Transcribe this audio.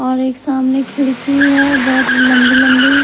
और एक सामने खिड़की है बहुत लंबी लंबी --